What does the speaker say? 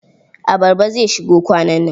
Abarba zai shigo kwanan nan.